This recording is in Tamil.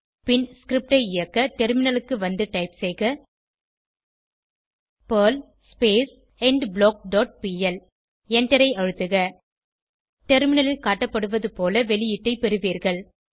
பின் ஸ்கிரிப்ட் ஐ இயக்க டெர்மினலுக்கு வந்து டைப் செய்க பெர்ல் எண்ட்பிளாக் டாட் பிஎல் எண்டரை அழுத்துக டெர்மினலில் காட்டப்படுவதுபோல வெளியீடை பெறுவீர்கள்